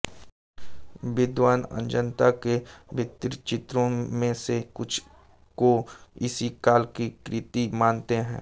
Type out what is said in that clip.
विद्वान् अजंता के भित्तिचित्रों में से कुछ को इसी काल की कृति मानते हैं